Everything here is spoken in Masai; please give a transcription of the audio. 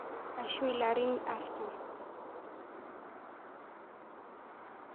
Ashu larin artam